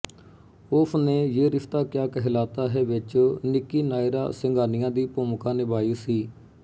ਉਸ ਨੇ ਯੇ ਰਿਸ਼ਤਾ ਕਯਾ ਕਹਿਲਾਤਾ ਹੈ ਵਿੱਚ ਨਿੱਕੀ ਨਾਇਰਾ ਸਿੰਘਾਨੀਆ ਦੀ ਭੂਮਿਕਾ ਨਿਭਾਈ ਸੀ